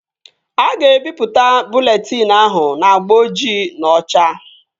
A ga-ebipụta bụleetịn ahụ n'agba ojii na ocha